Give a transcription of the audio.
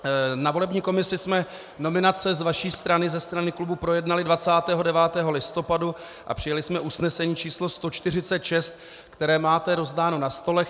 Na volební komisi jsme nominace z vaší strany, ze strany klubů, projednali 29. listopadu a přijali jsme usnesení číslo 146, které máte rozdáno na stolech.